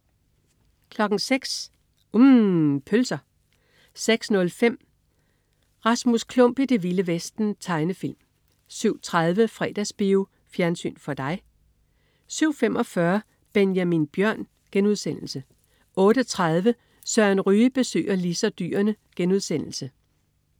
06.00 UMM. Pølser 06.05 Rasmus Klump i det vilde vesten. Tegnefilm 07.30 Fredagsbio. Fjernsyn for dig 07.45 Benjamin Bjørn* 08.30 Søren Ryge besøger Lis og dyrene*